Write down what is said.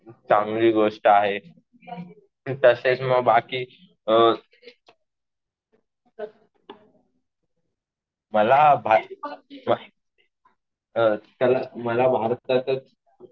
चांगली गोष्ट आहे. तसेच मग बाकी अ मला भारताचं